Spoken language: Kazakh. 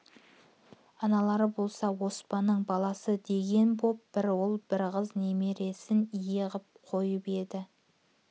аналар болса оспанның баласы деген боп бір ұл бір қыз немересін ие ғып қойып еді